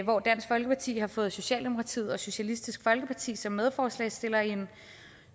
hvor dansk folkeparti har fået socialdemokratiet og socialistisk folkeparti med som medforslagsstillere i en